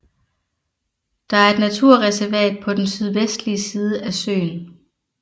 Der er et naturreservat på den sydvestlige side af søen